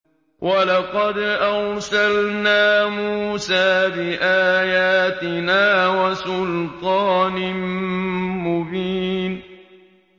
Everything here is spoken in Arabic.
وَلَقَدْ أَرْسَلْنَا مُوسَىٰ بِآيَاتِنَا وَسُلْطَانٍ مُّبِينٍ